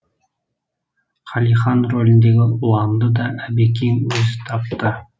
қалихан роліндегі ұланды да әбекең өзі тапты